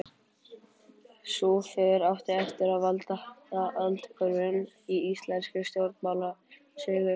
Sú för átti eftir að valda aldahvörfum í íslenskri stjórnmálasögu.